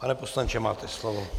Pane poslanče, máte slovo.